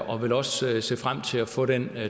og vil også se frem til at få den